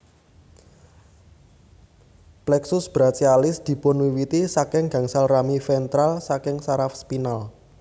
Plexus brachialis dipunwiwiti saking gangsal rami ventral saking saraf spinal